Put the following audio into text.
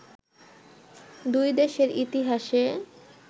দুই দেশের ইতিহাসে